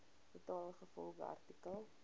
betaal ingevolge artikel